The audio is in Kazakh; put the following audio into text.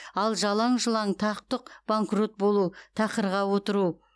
ал жалаң жұлаң тақ тұқ банкрот болу тақырға отыру